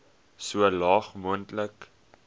so laag moontlik